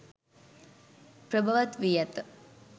ප්‍රභවත් වී ඇත.